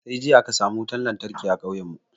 Sai jiya aka samu wutan lantarki a kauyen mu